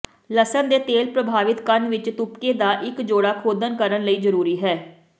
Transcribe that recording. ਲਸਣ ਦੇ ਤੇਲ ਪ੍ਰਭਾਵਿਤ ਕੰਨ ਵਿੱਚ ਤੁਪਕੇ ਦਾ ਇੱਕ ਜੋੜਾ ਖੋਦਣ ਕਰਨ ਲਈ ਜ਼ਰੂਰੀ ਹੈ